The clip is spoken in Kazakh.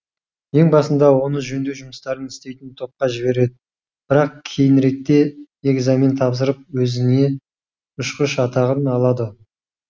ең басында оны жөңдеу жұмыстарын істейтін топқа жіберед бірақ кейініректе экзамен тапсырып өзіне ұшқыш атағын алады